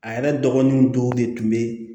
A yɛrɛ dɔgɔninw dɔw de tun be